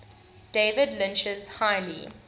david lynch's highly